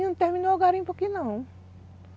Não terminou o garimpo aqui não.